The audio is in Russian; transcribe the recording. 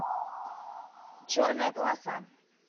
черная полоса